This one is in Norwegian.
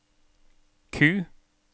Q